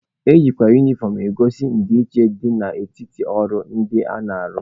Ejikwa unifọm egosi ndịiche dị n'etiti ọrụ ndị na-arụ.